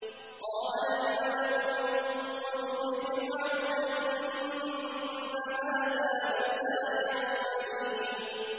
قَالَ الْمَلَأُ مِن قَوْمِ فِرْعَوْنَ إِنَّ هَٰذَا لَسَاحِرٌ عَلِيمٌ